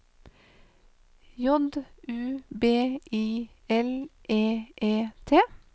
J U B I L E E T